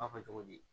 cogo di